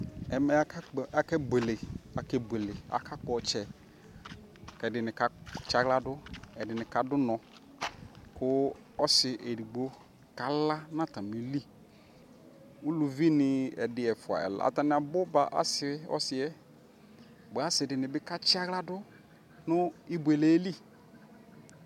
ɛmɛ akɛ bʋɛlɛ aka kpɔ ɔkyɛ kʋ ɛdini ka tsiala dʋ ɛdinikadʋ ʋnɔ kʋ ɔsii ɛdigbɔ ka la nʋ atami li, ʋlʋvi ni ɛdi ɛƒʋa atani abʋ ba asii ɔsiiɛ ,asii dibi ka tsiala dʋnʋ ɛbʋɛlɛ li